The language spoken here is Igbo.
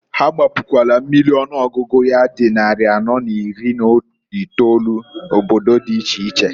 Ha gbapukwalu mmiri ọnụọgụgụ ya di nnarị anọọ na iri n'itolu, obodo di iche iche.